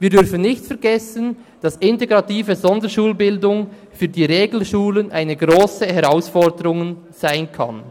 Wir dürfen nicht vergessen, dass integrative Sonderschulbildung für die Regelschulen eine grosse Herausforderung sein kann.